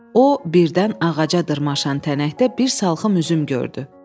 O, birdən ağaca dırmaşan tənəkdə bir salxım üzüm gördü.